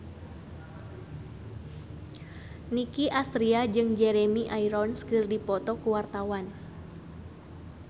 Nicky Astria jeung Jeremy Irons keur dipoto ku wartawan